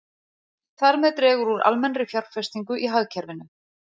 Þar með dregur úr almennri fjárfestingu í hagkerfinu.